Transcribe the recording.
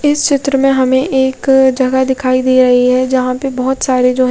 इस चित्र में हमे एक जगह दिखाई दे रही है जहा पे बहुतसारे जो है--